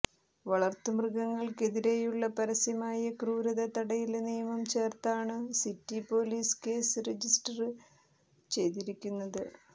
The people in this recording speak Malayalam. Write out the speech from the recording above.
വളര്ത്തു മൃഗങ്ങള്ക്കെതിരെയുള്ള പരസ്യമായ ക്രൂരത തടയല് നിയമം ചേര്ത്താണു സിറ്റി പോലീസ് കേസ് രജിസ്റ്റര് ചെയ്തിരിക്കുന്നത്